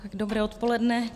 Dobré odpoledne.